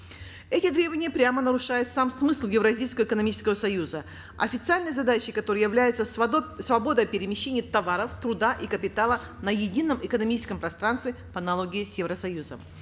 эти требования прямо нарушают сам смысл евразийского экономического союза официальной задачей которой является свобода перемещения товаров труда и капитала на едином экономическом пространстве по аналогии с евросоюзом